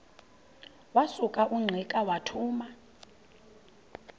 wasuka ungqika wathuma